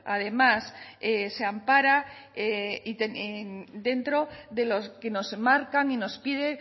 además se ampara dentro de lo que nos marca y nos pide